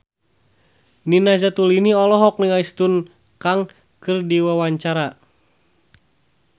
Nina Zatulini olohok ningali Sun Kang keur diwawancara